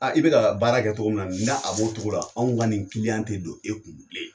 I bɛ ka baara kɛ cɔgɔ min na ni n'a a b'o cogo la anw ka nin kiliyan tɛ don e kun bilen.